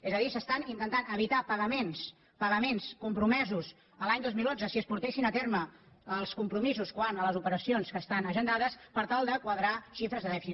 és a dir s’estan intentant evitar pagaments pagaments com·promesos l’any dos mil onze si es portessin a terme els compro·misos quant a les operacions que estan agendades per tal de quadrar xifres de dèficit